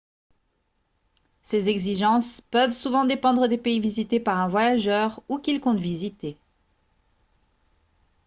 ces exigences peuvent souvent dépendre des pays visités par un voyageur ou qu'il compte visiter